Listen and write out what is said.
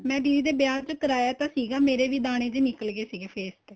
ਮੈਂ ਦੀਦੀ ਤੇ ਵਿਆਹ ਤੇ ਕਰਾਇਆ ਸੀਗਾ ਮੇਰੇ ਵੀ ਦਾਣੇ ਨਿੱਕਲ ਗਏ ਸੀ face ਤੇ